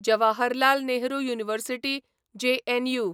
Jawaharlal Nehru university JNU